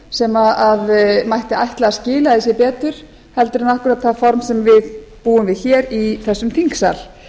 sem mætti ætla að skilaði sér betur heldur en akkúrat það form sem við búum við hér í þessum þingsal